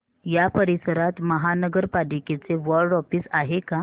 या परिसरात महानगर पालिकेचं वॉर्ड ऑफिस आहे का